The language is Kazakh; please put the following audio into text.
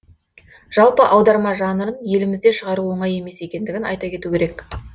жалпы аударма жанрын елімізде шығару оңай емес екендігін айта кету керек